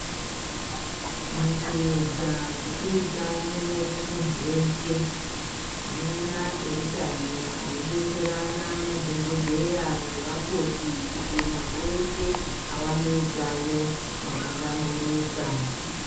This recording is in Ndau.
Mukuedza kupe utano kumuntu weshe tinoona eutano aidetserana madhogodheya ngevakoti kuti muntu weshe awane utano hwakahlamburika.